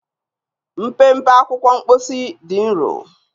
Mpempe akwụkwọ mposi dị nro.